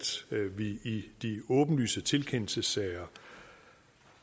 vi i de åbenlyse tilkendelsessager